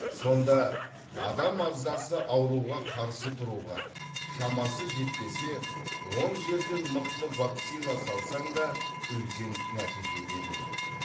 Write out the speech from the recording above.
сонда адам ағзасы ауруға қарсы тұруға шамасы жетпесе он жерден мықты вакцина салсаң да үлкен нәтиже бермейді